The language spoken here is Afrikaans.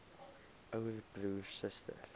ouer broer suster